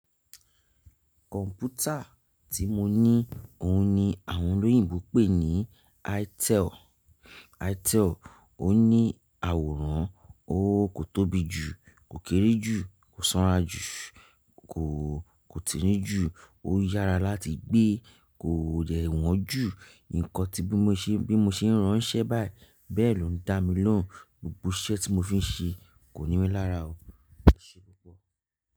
Kọ̀mpútà tí mo ní, òhun ni àwọn olóyìnbo pè ní itel, itel ò ní àwòrán, ó kò tóbi jù, kò kéré jù, kò sanra jù, kò, kò tinrin jù, ó yára láti gbé, kò dẹ wọ̀n jù, nǹkan tí bí mo ṣe ń ránsẹ́ báyìí, bẹ́ẹ̀ lọ ń dá mi lóhùn, gbogbo iṣẹ́ tí mo fi ń ṣe kò ní mí lára o.